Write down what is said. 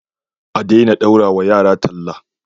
adena daurawa yara talla